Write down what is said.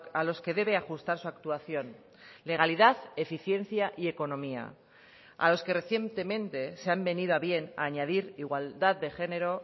a los que debe ajustar su actuación legalidad eficiencia y economía a los que recientemente se han venido a bien añadir igualdad de género